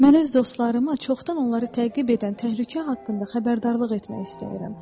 Mən öz dostlarıma çoxdan onları təqib edən təhlükə haqqında xəbərdarlıq etmək istəyirəm.